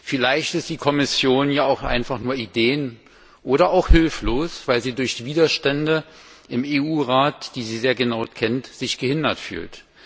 Vielleicht ist die Kommission ja einfach nur ideen oder auch hilflos, weil sie sich durch Widerstände im EU Rat, die sie sehr genau kennt, gehindert fühlt.